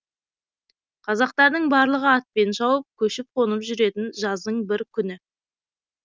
қазақтардың барлығы атпен шауып көшіп қонып жүретін жаздың бір күні